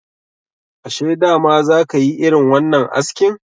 Ashe dama za ka yi irin wannan askin?